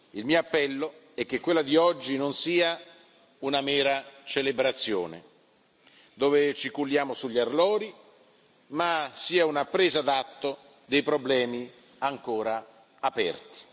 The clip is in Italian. Il mio appello è che quella di oggi non sia una mera celebrazione, dove ci culliamo sugli allori, ma sia una presa d'atto dei problemi ancora aperti.